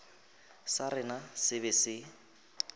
sa rena se be se